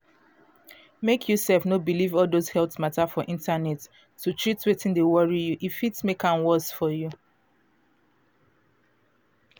mek you sef no believe all those health matter for internet to treat wetin dey worry you. e fit mek am worse for you.